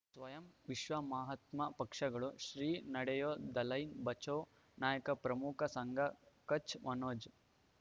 ಸ್ವಯಂ ವಿಶ್ವ ಮಹಾತ್ಮ ಪಕ್ಷಗಳು ಶ್ರೀ ನಡೆಯೂ ದಲೈ ಬಚೌ ನಾಯಕ ಪ್ರಮುಖ ಸಂಘ ಕಚ್ ಮನೋಜ್